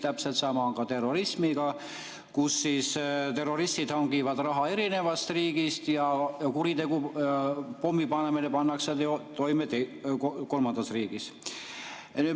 Täpselt sama on ka terrorismiga, kus terroristid hangivad raha erinevast riigist ja kuritegu, pommipanemine, pannakse toime kolmandas riigis.